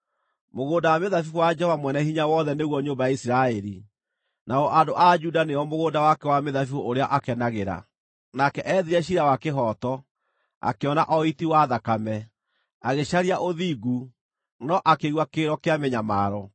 Mũgũnda wa mĩthabibũ wa Jehova Mwene-Hinya-Wothe nĩguo nyũmba ya Isiraeli, nao andũ a Juda nĩo mũgũnda wake wa mĩthabibũ ũrĩa akenagĩra. Nake eethire ciira wa kĩhooto, akĩona o ũiti wa thakame; agĩcaria ũthingu, no akĩigua kĩrĩro kĩa mĩnyamaro.